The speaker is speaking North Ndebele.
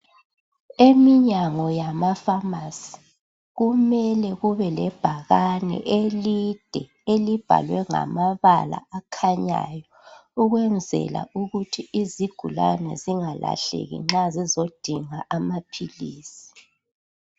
Eminyango yamakhemisi kumele kube lebhakane elide elibhalwe ngamabala akhanyayo ukwenzela ukuthi izigulane zingalahleki nxa zizodinga amaphilizi.